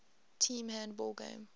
team handball game